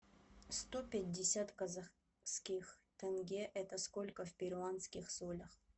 сто пятьдесят казахских тенге это сколько в перуанских солях